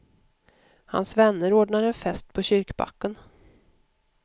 Hans vänner ordnar en fest på kyrkbacken.